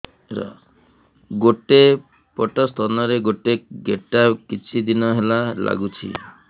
ଗୋଟେ ପଟ ସ୍ତନ ରେ ଗୋଟେ ଗେଟା କିଛି ଦିନ ହେଲା ଲାଗୁଛି